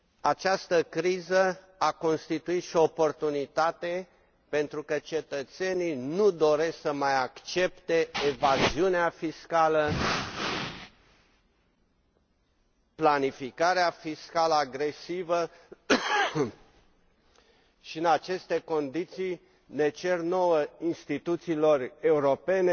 Această criză a constituit și o oportunitate, pentru că cetățenii nu doresc să mai accepte evaziunea fiscală, planificarea fiscală agresivă și, în aceste condiții, ne cer nouă, instituțiilor europene,